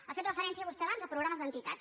ha fet referència vostè abans a programes d’entitats